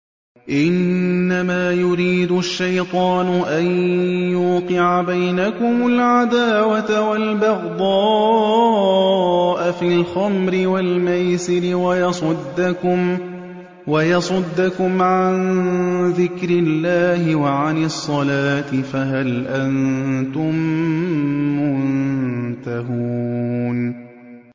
إِنَّمَا يُرِيدُ الشَّيْطَانُ أَن يُوقِعَ بَيْنَكُمُ الْعَدَاوَةَ وَالْبَغْضَاءَ فِي الْخَمْرِ وَالْمَيْسِرِ وَيَصُدَّكُمْ عَن ذِكْرِ اللَّهِ وَعَنِ الصَّلَاةِ ۖ فَهَلْ أَنتُم مُّنتَهُونَ